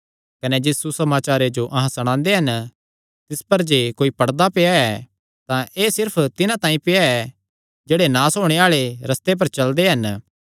कने जिस सुसमाचारे जो अहां सणांदे हन तिस पर जे कोई पड़दा पेआ ऐ तां एह़ सिर्फ तिन्हां तांई पेआ ऐ जेह्ड़े नास होणे आल़े रस्ते पर चलदे हन